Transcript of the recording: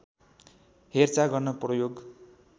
हेरचाह गर्न प्रयोग